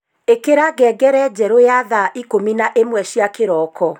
ikira ngengere njeru ya thaa ikumi na imwe cia kiroko